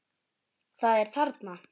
Það er þarna!